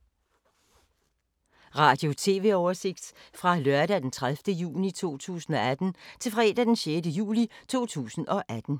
Radio/TV oversigt fra lørdag d. 30. juni 2018 til fredag d. 6. juli 2018